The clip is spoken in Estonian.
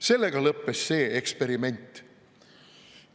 Sellega lõppes see eksperiment.